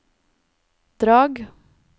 Drag